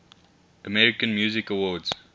american music awards